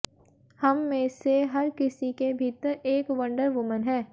हम में से हर किसी के भीतर एक वंडर वुमन है